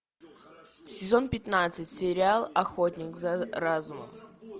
сезон пятнадцать сериал охотник за разумом